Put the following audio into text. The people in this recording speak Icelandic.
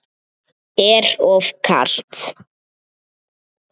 Er of kalt.